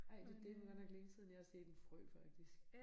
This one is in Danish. Ej det det godt nok længe siden jeg har set en frø faktisk